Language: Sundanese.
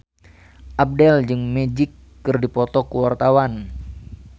Abdel jeung Magic keur dipoto ku wartawan